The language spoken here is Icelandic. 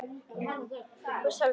Og sjálfum mér.